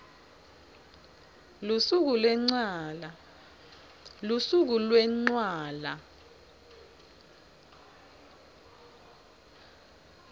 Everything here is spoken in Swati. lusuku lwencwala